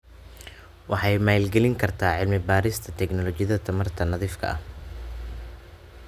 Waxay maalgelin kartaa cilmi-baarista tignoolajiyada tamarta nadiifka ah.